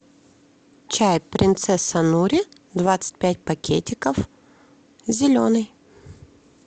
чай принцесса нури двадцать пять пакетиков зеленый